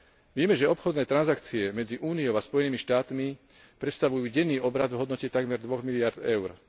Vieme, že obchodné transakcie medzi Úniou a Spojenými štátmi predstavujú denný obrat v hodnote takmer 2 miliárd eur.